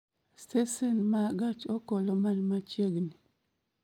Stesen ma gach okoloman machiegni